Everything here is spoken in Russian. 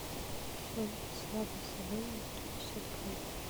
семга слабосоленая сто пятьдесят грамм